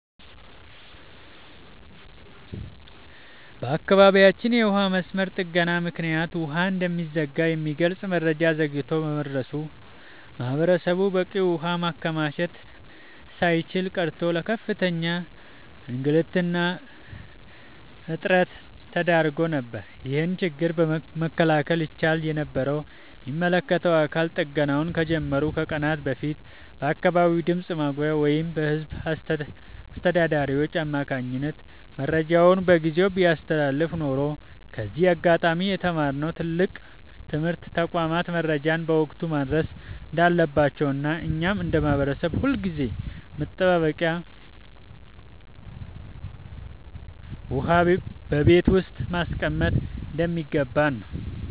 በአካባቢያችን የውሃ መስመር ጥገና ምክንያት ውሃ እንደሚዘጋ የሚገልጽ መረጃ ዘግይቶ በመድረሱ ማህበረሰቡ በቂ ውሃ ማከማቸት ሳይችል ቀርቶ ለከፍተኛ እንግልትና እጥረት ተዳርጎ ነበር። ይህንን ችግር መከላከል ይቻል የነበረው የሚመለከተው አካል ጥገናው ከመጀመሩ ከቀናት በፊት በአካባቢው ድምፅ ማጉያ ወይም በህዝብ አስተዳዳሪዎች አማካኝነት መረጃውን በጊዜ ቢያስተላልፍ ኖሮ ነው። ከዚህ አጋጣሚ የተማርነው ትልቅ ትምህርት ተቋማት መረጃን በወቅቱ ማድረስ እንዳለባቸውና እኛም እንደ ማህበረሰብ ሁልጊዜም መጠባበቂያ ውሃ በቤት ውስጥ ማስቀመጥ እንደሚገባን ነው።